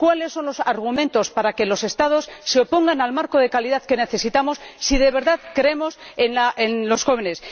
¿Cuáles son los argumentos para que los Estados se opongan al marco de calidad que necesitamos si de verdad creemos en los jóvenes?